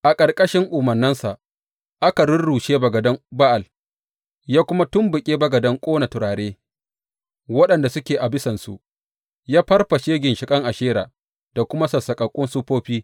A ƙarƙashin umarninsa aka rurrushe bagadan Ba’al, ya kuma tumɓuke bagadan ƙona turare waɗanda suke a bisansu, ya farfashe ginshiƙan Ashera da kuma sassaƙaƙƙun siffofi.